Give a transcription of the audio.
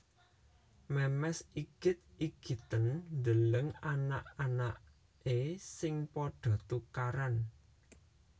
Memes igit igiten ndeleng anak anake sing podo tukaran